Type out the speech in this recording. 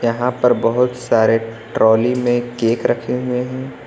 यहां पर बहोत सारे ट्रॉली में केक रखे हुए है।